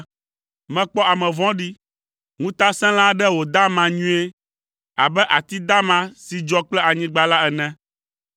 Mekpɔ ame vɔ̃ɖi, ŋutasẽla aɖe wòda ama nyuie abe ati dama si dzɔ kple anyigba la ene.